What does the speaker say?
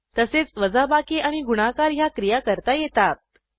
तसेच वजाबाकी आणि गुणाकार ह्या क्रिया करता येतात